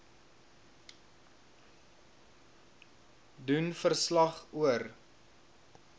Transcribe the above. doen verslag oor